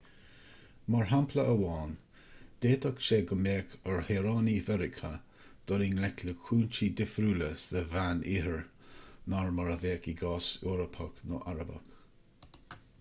mar shampla amháin d'fhéadfadh sé go mbeadh ar shaoránaigh mheiriceá dul i ngleic le cúinsí difriúla sa mheánoirthear ná mar a bheadh i gcás eorpach nó arabach